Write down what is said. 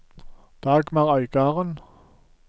Dagmar Øygarden